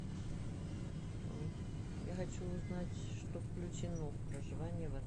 я хочу узнать что включено в проживание в